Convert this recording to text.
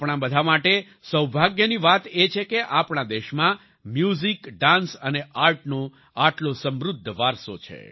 આપણાં બધા માટે સૌભાગ્યની વાત એ છે કે આપણા દેશમાં મ્યુઝિક ડાન્સ અને આર્ટનો આટલો સમૃદ્ધ વારસો છે